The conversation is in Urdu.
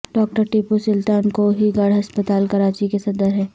ڈاکٹر ٹیپو سلطان کوہی گوٹھ ہسپتال کراچی کے صدر ہیں